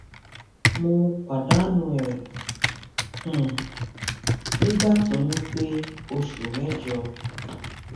mo pàdánù ẹ um nígbà tóyún pé oṣù mẹjọ